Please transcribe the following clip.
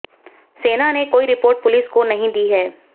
सेना ने कोई रिपोर्ट पुलिस को नहीं दी है